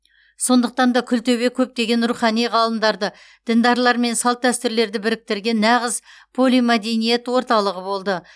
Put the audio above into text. сондықтан да күлтөбе көптеген рухани ғалымдарды діндарлар мен салт дәстүрлерді біріктірген нағыз полимәдениет орталығы болды